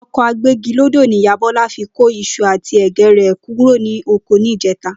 O̩kò̩ agbégilódò ní ìyá Bó̩lá fi ko is̩u àti è̩gé̩ rè̩ kúrò ní oko ní ìjé̩ta